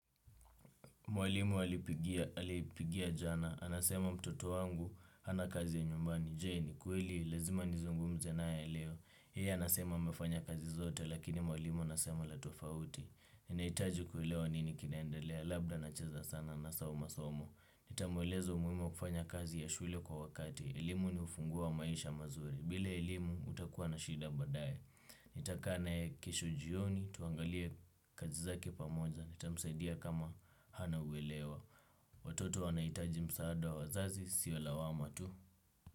Mwalimu alipigia jana, anasema mtoto wangu, hana kazi ya nyumbani. Je ni kweli? Lazima nizungumze na ya eleo. Yeye anasema amefanya kazi zote, lakini mwalimu anasema la tofauti. Ninahitaji kuelewa nini kinaendelea, labda anacheza sana anasahau masomo. Nitamuelezo umuhimu wa kufanya kazi ya shule kwa wakati. Elimu ni ufunguo wa maisha mazuri. Bila elimu utakua na shida baadae. Nitakaa naye kesho jioni, tuangalie kazi zake pamoja. Nita msaidia kama hana uwelewa. Watoto wanahitaji msaada wa wazazi sio lawama tu.